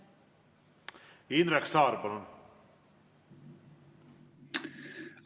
Indrek Saar, palun!